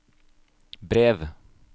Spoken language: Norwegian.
brev